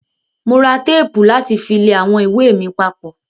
Mo ra tẹ́pù láti fi lẹ àwọn ìwé mi papọ̀.